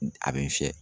A bɛ n fiyɛ